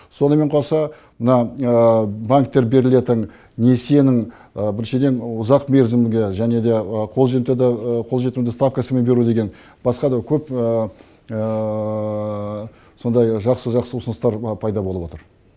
сонымен қоса мына банктер берілетін несиенің біріншіден ұзақ мерзімге және де қолжетімді ставкасымен беру деген басқа да көп сондай жақсы жақсы ұсыныстар пайда болып отыр